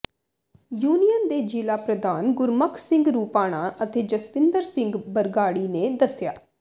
union ਦੇ ਜ਼ਿਲ੍ਹਾ ਪ੍ਰਧਾਨ ਗੁਰਮੁਖ ਸਿੰਘ ਰੁਪਾਣਾ ਅਤੇ ਜਸਵਿੰਦਰ ਸਿੰਘ ਬਰਗਾੜੀ ਨੇ ਦੱਸਿਆ